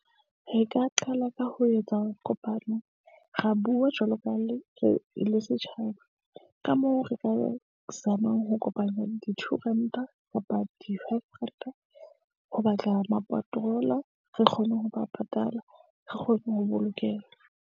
Re ka qala ka ho etsa kopano. Ra bua jwalo ka le, re le setjhaba ka moo re ka zamang ho kopanya di-two ranta kapa di-five ranta. Ho batla ma-patroller re kgone ho ba patala, re kgone ho bolokeha.